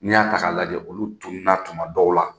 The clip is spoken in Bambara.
N'i y'a ta k'a lajɛ olu tununa tuma dɔw la.